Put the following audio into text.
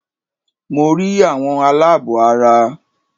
Mo rí àwọn aláàbọ̀ ara